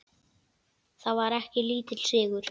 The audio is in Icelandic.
Það var ekki lítill sigur!